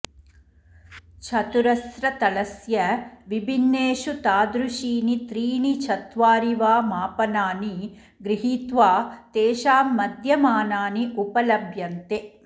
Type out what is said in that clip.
चतुरस्रतलस्य विभिन्नेषु तादृशीनि त्रीणि चत्वारि वा मापनानि गृहीत्वा तेषां मध्यमानानि उपलभ्यन्ते